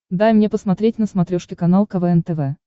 дай мне посмотреть на смотрешке канал квн тв